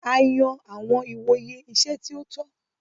A yan awọn ìwòyè iṣẹ ti o tọ.